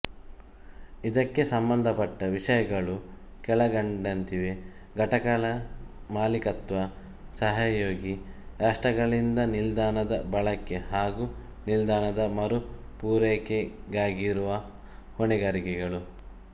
ಇದಕ್ಕೆ ಸಂಬಂಧಪಟ್ಟ ವಿಷಯಗಳು ಕೆಳಕಂಡಂತಿವೆ ಘಟಕಗಳ ಮಾಲೀಕತ್ವ ಸಹಯೋಗಿ ರಾಷ್ಟ್ರಗಳಿಂದ ನಿಲ್ದಾಣದ ಬಳಕೆ ಹಾಗು ನಿಲ್ದಾಣದ ಮರು ಪೂರೈಕೆಗಾಗಿರುವ ಹೊಣೆಗಾರಿಕೆಗಳು